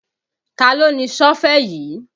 Taló ni Sọ́fẹ̀ yìí?